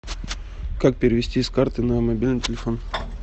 как перевести с карты на мобильный телефон